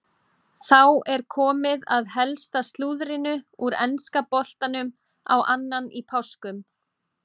Þá er komið að helsta slúðrinu úr enska boltanum á annan í páskum.